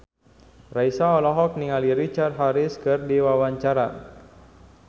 Raisa olohok ningali Richard Harris keur diwawancara